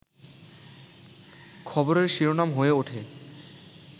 খবরের শিরোনাম হয়ে ওঠে